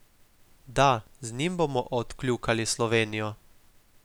Da, z njim bomo odkljukali Slovenijo.